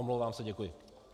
Omlouvám se, děkuji.